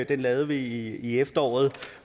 vi lavede i efteråret og